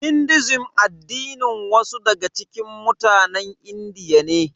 Hinduism addinin wasu daga cikin mutanen Indiya ne.